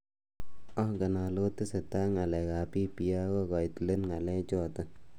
Angen ale otesetai ak ngalekab BBI ako koit let ngalek chotok.